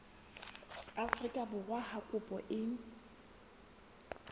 afrika borwa ha kopo e